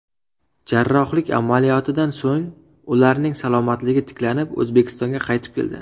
Jarrohlik amaliyotidan so‘ng ularning salomatligi tiklanib, O‘zbekistonga qaytib keldi.